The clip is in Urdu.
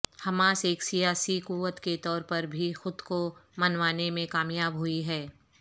حماس ایک سیاسی قوت کے طور پر بھی خود کو منوانے میں کامیاب ہوئی ہے